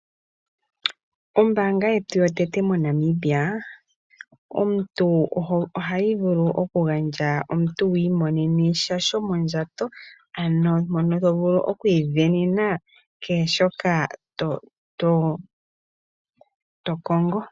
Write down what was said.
Ombaanga yetu yotango moNamibia, ohayi vulu okugandja sha omuntu wi imonene sha shomondjato. Ano mono to vulu oku isindanena kehe shoka to kongo.